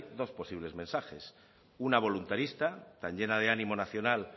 dos posibles mensajes una voluntarista tan llena de ánimo nacional